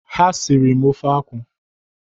Ha sịrị m ofe akwụ